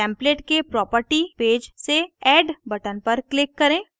template के property page से add button पर click करें